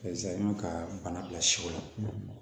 ka bana bila siw la